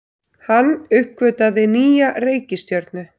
Hann uppgötvaði nýja reikistjörnu!